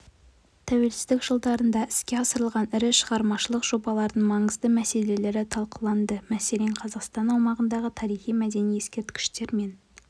тәуелсіздік жылдарында іске асырылған ірі шығармашылық жобалардың маңызды мәселелері талқыланды мәселен қазақстан аумағындағы тарихи-мәдени ескерткіштер мен